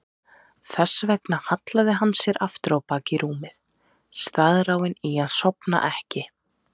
Þess vegna hallaði hann sér aftur á bak í rúmið, staðráðinn í að sofna ekki.